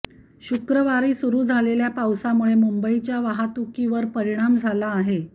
शुक्रवारी सुरू झालेल्या पावसामुळे मुंबईच्या वाहतुकीवरही परिणाम झाला आहे